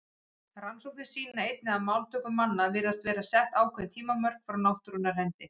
Rannsóknir sýna einnig að máltöku manna virðast vera sett ákveðin tímamörk frá náttúrunnar hendi.